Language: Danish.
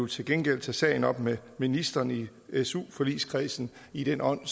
til gengæld tage sagen op med ministeren i i su forligskredsen i den ånd